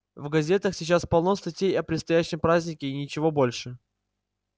в газетах сейчас полно статей о предстоящем празднике и ничего больше